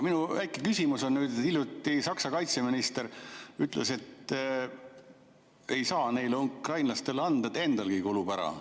Minu küsimus on nüüd, et hiljuti Saksa kaitseminister ütles, et ei saa neile ukrainlastele anda, endalgi kulub ära.